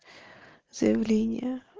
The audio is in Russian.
заявление